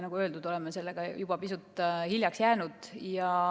Nagu öeldud, oleme sellega juba pisut hiljaks jäänud.